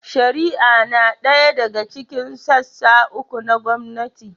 Shari'a na ɗaya daga cikin sassa uku na gwamnati.